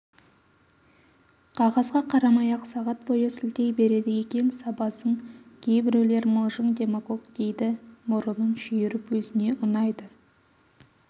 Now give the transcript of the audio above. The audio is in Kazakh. қағазға қарамай-ақ сағат бойы сілтей береді екен сабазың кейбіреулер мылжың демагог дейді мұрынын шүйіріп өзіне ұнайды